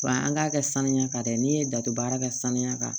Wa an k'a kɛ saniya kan dɛ n'i ye dato baara kɛ sanuya kan